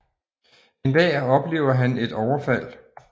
En dag oplever han et overfald